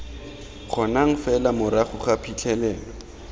kgonang fela morago ga phitlhelelo